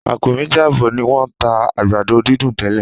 Àpò méjì àbọ̀ ni wọ́n ń tà àgbàdo dídùn tẹ́lẹ̀.